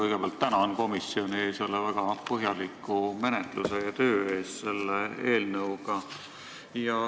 Kõigepealt tänan komisjoni selle väga põhjaliku menetluse ja töö eest selle eelnõuga.